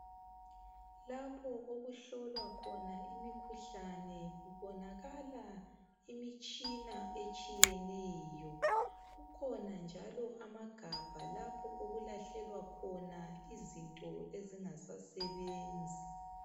Lapho okuhlolwa khona imikhuhlane kubonakala imitshina etshiyeneyo. Kukhona njalo amagabha lapho okulahlelwa khona izinto ezingasasebenzi.